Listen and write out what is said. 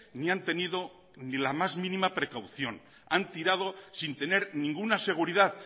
ni han tenido ni la más mínima precaución han tirado sin tener ninguna seguridad